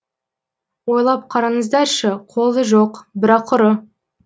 ойлап қараңыздаршы қолы жоқ бірақ ұры